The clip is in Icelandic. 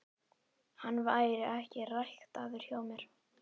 Hann væri ekki ræktaður hjá mér.